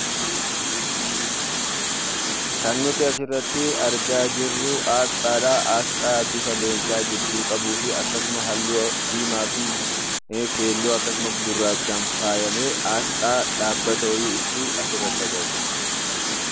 Kan nuti as irratti argaa jirru, asxaadha. Asxaa bifa leencaa gidduu qabuu fi akkasuma halluu diimaa, keelloo fi gurraachaan faayamee asxaa dhaabbata wayii ibsu asirratti agarra.